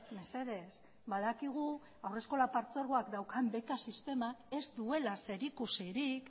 mesedez badakigu haurreskola partzuergoak daukan beka sistemak ez duela zerikusirik